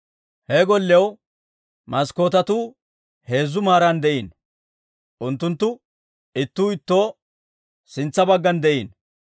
He golliyaw maskkootetuu heezzu maaran de'iino; unttunttu ittuu ittoo sintsa baggan de'iino.